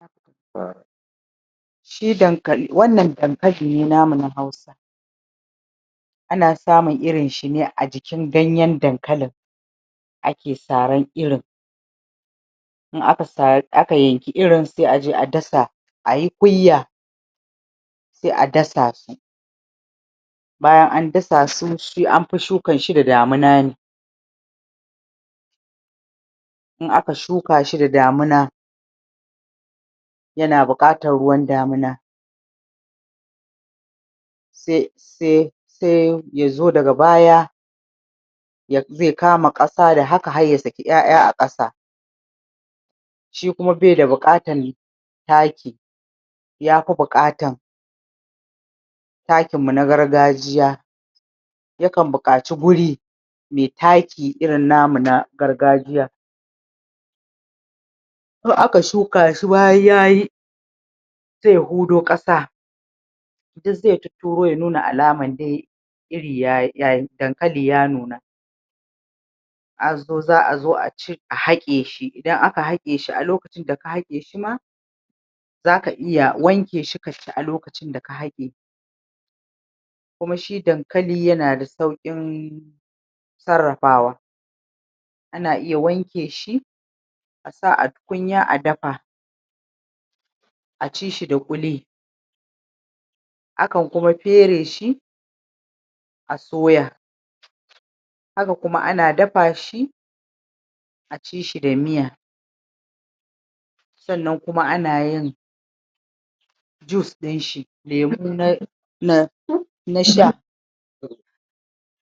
um shi dankali, wannan dankali ne namu na Hausa ana samun irin shi ne a jikin ganyen dankalin ake saran irin in aka um yanki irin se aje a dasa ayi kuyya se a dasa shi bayan an dasa su shi an fi sukar shi da damuna ne in aka shuka shi da damuna yana buƙatar ruwan damuna se se se ya zo daga baya um ze kama ƙasa da haka har ya saki ƴaƴa a ƙasa shi kuma be da buƙatan taki ya fi buƙatan takin mu na gargajiya ya kan buƙaci guri me taki irin namu na gargajiya in aka shuka shi bayan yayi se ya hudo ƙasa duk ze tutturo ya nuna alaman dai iri yayi um dankali ya nuna um za'a zo a cire a haƙe shi, idan aka haƙe shi a lokacinda ka haƙe shi ma zaka iya wanke shi ka ci a lokacin da ka haƙe kuma shi dankali yana da sauƙin sarrafawa ana iya wanke shi a sa a tukunya a dafa a ci shi da ƙuli akan kuma fere shi a soya haka kuma ana dafa shi a ci shi da miya sannan kuma ana yin juice ɗin shi lemu na na na sha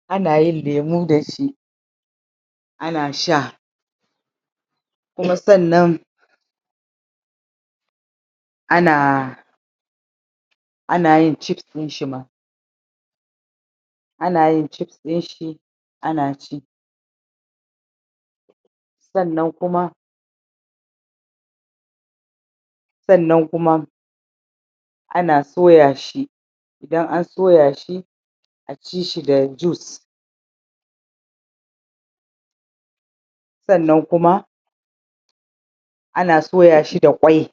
ana yin lemu da shi ana sha kuma sannan ana ana yin chips ɗin shi ma ana yin ships ɗin shi ana ci sannan kuma sannan kuma ana soya shi idan an soya shi a ci shi da juice sannan kuma ana soya shi da ƙwai